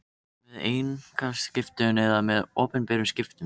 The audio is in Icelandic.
með einkaskiptum eða með opinberum skiptum.